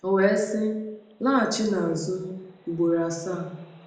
O wee sị, ‘Laghachinụ azu,’ ugboro asaa. ”